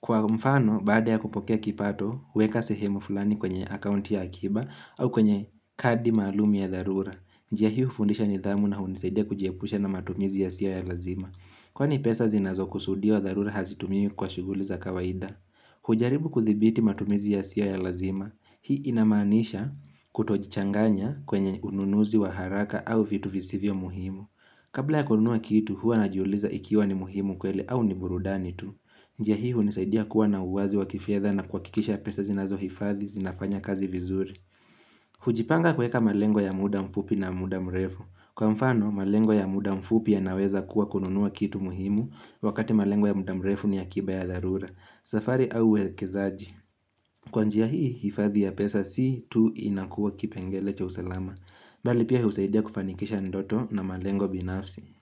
Kwa mfano, baada ya kupokea kipato, huweka sehemu fulani kwenye akaunti ya akiba au kwenye kadi maalumi ya dharura. Njia hi hufundisha nidhamu na unisaidia kujiepusha na matumizi yasiyo ya lazima. Kwani pesa zinazo kusudia wa dharura hazitumiwi kwa shuguli za kawaida. Hujaribu kudhibiti matumizi yasiyo ya lazima Hii inamaanisha kutojichanganya kwenye ununuzi wa haraka au vitu visivyo muhimu Kabla ya kununua kitu hua na jiuliza ikiwa ni muhimu kweli au ni burudani tu njia hia hunisaidia kuwa na uwazi wa kifedha na kuwakikisha pesa zinazo hifadhi zinafanya kazi vizuri hujipanga kueka malengo ya muda mfupi na muda mrefu Kwa mfano malengo ya muda mfupi yanaweza kuwa kununua kitu muhimu wakati malengo ya muda mrefu ni akiba ya dharura safari au uwekezaji Kwa njia hii, hifadhi ya pesa si tu inakuwa kipengele cha usalama Bali pia husaidia kufanikisha ndoto na malengo binafsi.